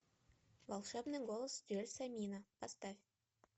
волшебный голос джельсомино поставь